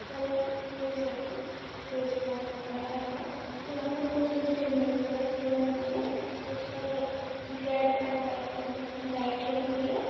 ऊपर एक स्टेज हेंगा स्टेज बहुत बड़ा हेंगा यहाँ पर कुछ इंस्ट्रूमेंट्स रखे हुए हेंगे स्टेज पर रेड और व्हाइट कलर की लाइट लगी हुयी है।